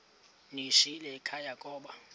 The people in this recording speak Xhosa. ndiyishiyile ekhaya koba